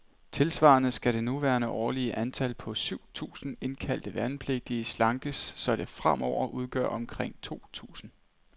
Tilsvarende skal det nuværende årlige antal, på syv tusinde indkaldte værnepligtige, slankes, så det fremover udgør omkring to tusinde.